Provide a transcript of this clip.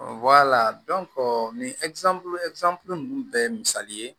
nin ninnu bɛɛ ye misali ye